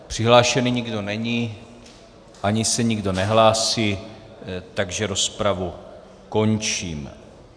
Přihlášený nikdo není ani se nikdo nehlásí, takže rozpravu končím.